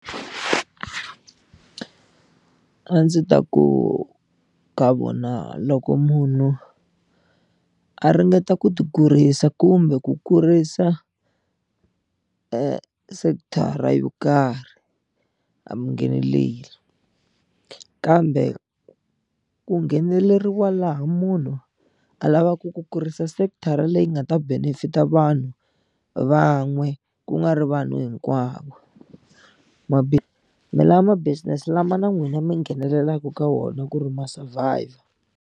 A ndzi ta ku ka vona loko munhu a ringeta ku ti kurisa kumbe ku kurisa sekithara yo karhi a mi ngheneleli kambe ku ngheneleriwa laha munhu a lavaku ku kurisa sekithara leyi nga ta benefit a vanhu van'we ku nga ri vanhu hinkwavo mi la ma business lama na n'wina mi nghenelelaka ka wona ku ri ma survive-a.